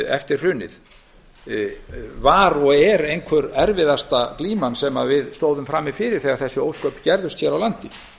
eftir hrunið var og er einhver erfiðasta glíman sem við stóðum frammi fyrir þegar þessi ósköp gerðust hér á landi